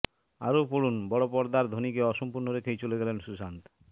আরও পড়ুনঃবড় পর্দার ধোনিকে অসম্পূর্ণ রেখেই চলে গেলেন সুশান্ত